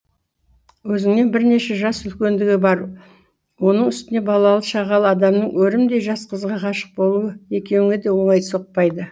өзінен бірнеше жас үлкендігі бар оның үстіне балалы шағалы адамның өрімдей жас қызға ғашық болуы екеуіңе де оңай соқпайды